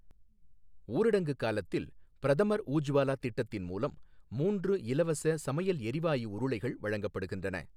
ஊரடங்கு காலத்தில், பிரதமர் ஊஜ்வாலா திட்டத்தின் மூலம் மூன்று இலவச சமையல் எரிவாயு உருளைகள் வழங்கப்படுகின்றன.